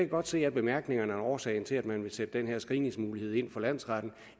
godt se af bemærkningerne at årsagen til at man vil sætte den her screeningsmulighed ind for landsretten